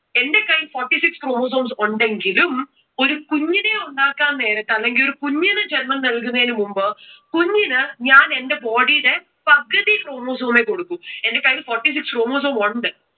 എന്റെ കയ്യിൽ forty six chromosomes ഉണ്ടെങ്കിലും ഒരു കുഞ്ഞിനെ ഉണ്ടാkkaൻ നേരത്തു അല്ലെങ്കിൽ ഒരു കുഞ്ഞിന് ജന്മം നൽകുന്നതിന് മുമ്പ് കുഞ്ഞിന് ഞാൻ എന്റെ body യുടെ പകുതി chromosome കൊടുക്കൂ. എന്റെ കൈയിൽ forty six chromosomes ഉണ്ട്.